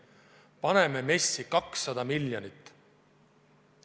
Paneme MES-i 200 miljonit.